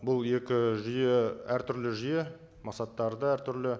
бұл екі жүйе әртүрлі жүйе мақсаттары да әртүрлі